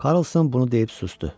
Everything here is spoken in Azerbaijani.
Karlson bunu deyib susdu.